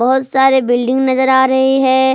बहुत सारे बिल्डिंग नजर आ रही है।